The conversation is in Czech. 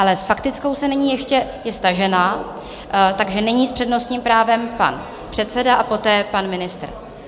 Ale s faktickou se nyní ještě - je stažena, takže nyní s přednostním právem pan předseda a poté pan ministr.